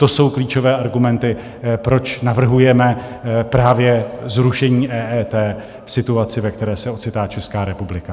To jsou klíčové argumenty, proč navrhujeme právě zrušení EET v situaci, ve které se ocitá Česká republika.